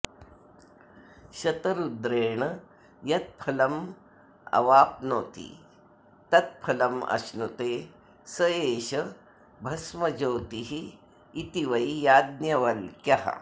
शतरुद्रेण यत्फलमवप्नोति तत्फलमश्नुते स एष भस्मज्योतिरिति वै याज्ञवल्क्यः